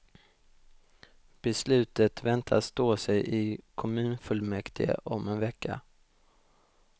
Beslutet väntas stå sig i kommunfullmäktige om en vecka.